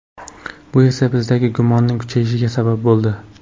Bu esa bizdagi gumonning kuchayishiga sabab bo‘ldi.